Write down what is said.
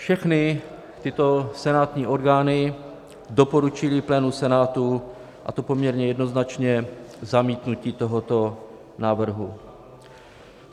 Všechny tyto senátní orgány doporučily plénu Senátu, a to poměrně jednoznačně, zamítnutí tohoto návrhu.